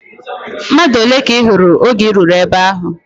Mmadụ ole ka ị hụrụ oge I ruru ebe ahụ?